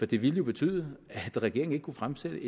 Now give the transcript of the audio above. det ville jo betyde at regeringen ikke kunne fremsætte